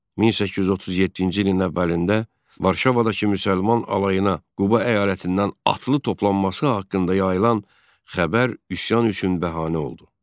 1837-ci ilin Noverində Varşavadakı müsəlman alayına Quba əyalətindən atlı toplanması haqqında yayılan xəbər üsyan üçün bəhanə oldu.